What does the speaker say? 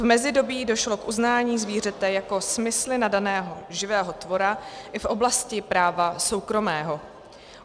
V mezidobí došlo k uznání zvířete jako smysly nadaného živého tvora i v oblasti práva soukromého.